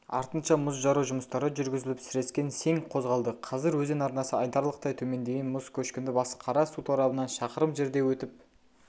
артынша мұз жару жұмыстары жүргізіліп сірескең сең қозғалды қазір өзен арнасы айтарлықтай төмендеген мұз көшкіні басықара су торабынан шақырым жерде өтіп